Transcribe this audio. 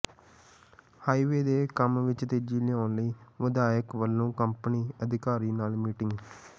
highway ਦੇ ਕੰਮ ਵਿਚ ਤੇਜ਼ੀ ਲਿਆਉਣ ਲਈ ਵਿਧਾਇਕ ਵਲੋਂ ਕੰਪਨੀ ਅਧਿਕਾਰੀ ਨਾਲ ਮੀਟਿੰਗ